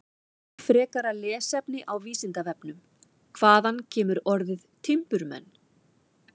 Frekara lesefni á Vísindavefnum: Hvaðan kemur orðið timburmenn?